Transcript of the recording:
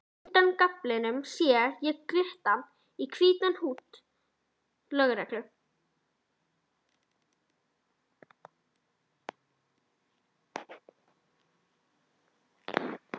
Undan gaflinum sé ég glitta í hvítt húdd lögreglu